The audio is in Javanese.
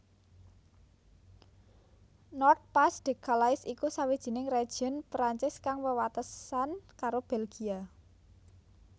Nord Pas de Calais iku sawijining région Prancis kang wewatesan karo Belgia